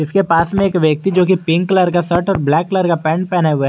इसके पास में एक व्यक्ति जोकि कि पिंक कलर का शर्ट और ब्लैक कलर का पैंट पहने हुए है।